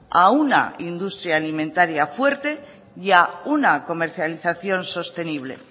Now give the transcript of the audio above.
a una industria alimentaria fuerte y a una comercialización sostenible